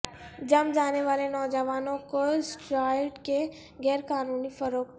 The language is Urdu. جم جانے والے نوجوانوں کو اسٹرائیڈ کی غیر قانونی فروخت